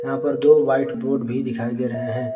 यहां पर दो व्हाइट बोर्ड भी दिखाई दे रहे हैं।